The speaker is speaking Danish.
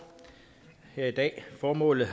her i dag formålet